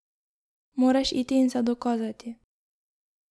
Moraš iti in se dokazati.